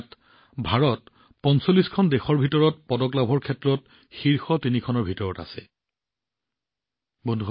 ইয়াত ভাৰতে ৪৫খন দেশৰ ভিতৰত পদক লাভৰ ক্ষেত্ৰত শীৰ্ষ তিনিটাৰ ভিতৰত স্থান লাভ কৰে